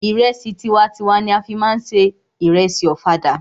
Ìrẹsì tiwa n tiwa ni a fí má ń se ìrẹsì ọ̀fadà.